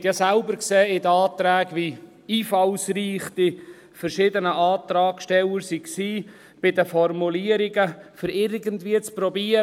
Sie haben ja selbst gesehen in den Anträgen, wie einfallsreich die verschiedenen Antragsteller waren bei den Formulierungen, um es irgendwie zu probieren.